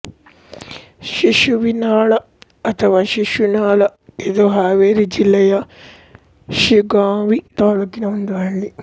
ಶಿಶುವಿನಹಾಳ ಅಥವಾ ಶಿಶುನಾಳ ಇದು ಹಾವೇರಿ ಜಿಲ್ಲೆಯ ಶಿಗ್ಗಾಂವಿ ತಾಲೂಕಿನ ಒಂದು ಹಳ್ಳಿ